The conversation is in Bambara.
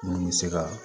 Mun bɛ se ka